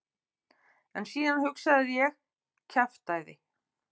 En síðan hugsaði ég: kjaftæði.